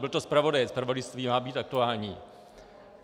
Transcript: Byl to zpravodajec, zpravodajství má být aktuální.